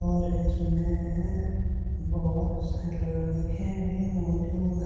और इसमें बहुत से लड़के भी मौजूद है।